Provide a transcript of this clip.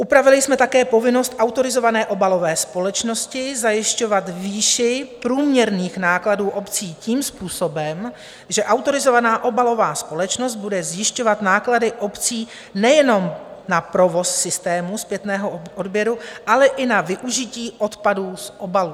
Upravili jsme také povinnost autorizované obalové společnosti zajišťovat výši průměrných nákladů obcí tím způsobem, že autorizovaná obalová společnost bude zjišťovat náklady obcí nejenom na provoz systémů zpětného odběru, ale i na využití odpadů z obalů.